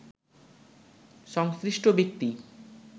সংশ্লিষ্ট ব্যক্তি